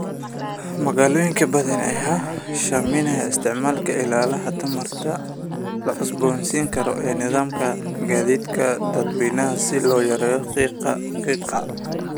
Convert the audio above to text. Magaalooyin badan ayaa sahaminaya isticmaalka ilaha tamarta la cusboonaysiin karo ee nidaamka gaadiidka dadweynaha si loo yareeyo qiiqa qiiqa.